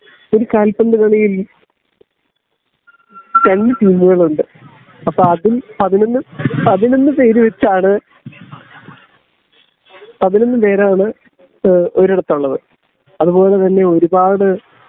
ഒരു കാൽപ്പന്ത് കളിയിൽ രണ്ടു ടീമുകളുണ്ട് അപ്പോ അതിൽ പതിനൊന്ന് പതിനൊന്ന് പേരുവച്ചാണ് പതിനൊന്ന് പേരാണ് ഏ ഒരിടത്ത് ഉള്ളത് അത്പോലെ തന്നെ ഒരുപാട്